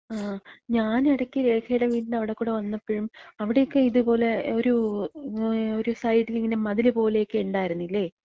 ങാ. ഞാനെടയ്ക്ക് രേഖേടെ വീട്ന്‍റെ അവ്ടെക്കൂടി വന്നപ്പഴും അവ്ട്യൊക്കെ ഇത്പോലെ ഒരു, ഒരു സൈഡിലിങ്ങനെ ഒരു മതില് പോലെക്ക ഇണ്ടായിരുന്നില്ലേ?